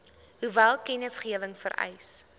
hoeveel kennisgewing vereis